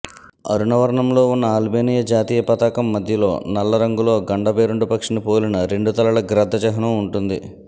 అరుణవర్ణంలో ఉన్న అల్బేనియా జాతీయ పతాకం మధ్యలో నల్లరంగులో గండభేరుండ పక్షిని పోలిన రెండు తలల గ్రద్ద చిహ్నం ఉంటుంది